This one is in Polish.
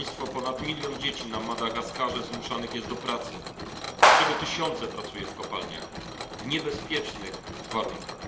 Ponad milion dzieci na Madagaskarze zmuszanych jest do pracy, z czego tysiące pracuje w kopalniach w niebezpiecznych warunkach.